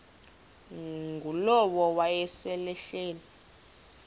ngulowo wayesel ehleli